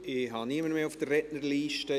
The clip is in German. Ich habe niemanden mehr auf der Rednerliste.